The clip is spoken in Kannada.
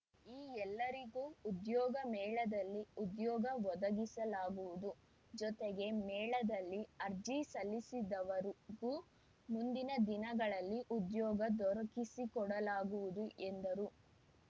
ಈ ಎಲ್ಲರಿಗೂ ಉದ್ಯೋಗ ಮೇಳದಲ್ಲಿ ಉದ್ಯೋಗ ಒದಗಿಸಲಾಗುವುದು ಜೊತೆಗೆ ಮೇಳದಲ್ಲಿ ಅರ್ಜಿ ಸಲ್ಲಿಸಿದವರುಗೂ ಮುಂದಿನ ದಿನಗಳಲ್ಲಿ ಉದ್ಯೋಗ ದೊರಕಿಸಿಕೊಡಲಾಗುವುದು ಎಂದರು